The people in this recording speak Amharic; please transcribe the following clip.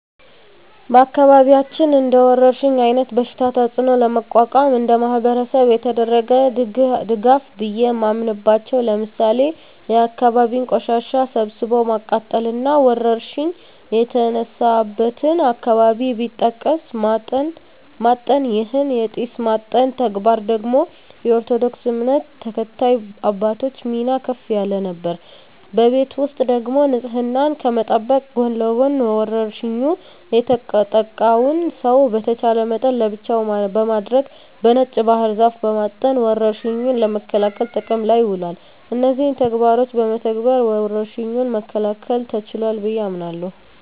በአካባቢያችን እንደወረርሽኝ አይነት በሽታ ተጽኖ ለመቋቋም እንደማህበረሰብ የተደረገ ድጋፍ ቢየ ማምናበቻው ለምሳሌ የአካባቢን ቆሻሻ ሰብስቦ ማቃጠል እና ወረርሽኝ የተነሳበትን አካባቢ በጢስ ማጠን ይህን የጢስ ማጠን ተግባር ደግሞ የኦርቶዶክስ እምነት ተከታይ አባቶች ሚና ከፍ ያለ ነበር። በቤት ውስጥ ደግሞ ንጽህናን ከመጠበቅ ጎን ለጎን በወርሽኙ የተጠቃውን ሰው በተቻለ መጠን ለብቻው በማድረግ በነጭ ባህር ዛፍ በማጠን ወረርሽኙን ለመከላከል ጥቅም ላይ ውሏል። እነዚህን ተግባሮች በመተግበር ወረርሽኙን መከላከል ተችሏል ብየ አምናለሁ።